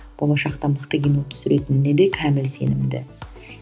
болашақта мықты кино түсіретініне де кәміл сенімді